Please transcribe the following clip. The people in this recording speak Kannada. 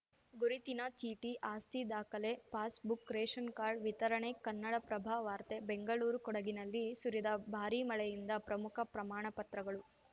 ಗುರುತಿನ ಚೀಟಿ ಆಸ್ತಿ ದಾಖಲೆ ಪಾಸ್‌ಬುಕ್‌ ರೇಶನ್‌ ಕಾರ್ಡ್‌ ವಿತರಣೆ ಕನ್ನಡಪ್ರಭ ವಾರ್ತೆ ಬೆಂಗಳೂರು ಕೊಡಗಿನಲ್ಲಿ ಸುರಿದ ಭಾರಿ ಮಳೆಯಿಂದ ಪ್ರಮುಖ ಪ್ರಮಾಣಪತ್ರಗಳು